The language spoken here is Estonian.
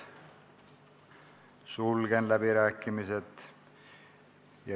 Sulgen läbirääkimised.